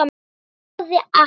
Ég svaraði ekki.